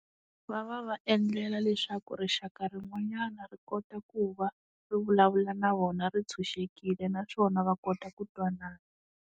Va va va endlela leswaku rixaka rin'wanyana ri kota ku va ri vulavula na vona ri tshunxekile naswona va kota ku twanana.